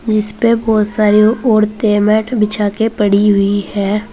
जिस पे बहुत सारी औरतें मैट बिछा के पड़ी हुई हैं।